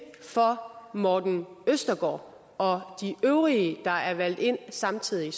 for morten østergaard og de øvrige der er valgt ind samtidig